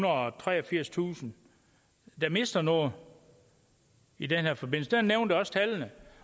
og treogfirstusind der mister noget i den her forbindelse og jeg nævnte også tallene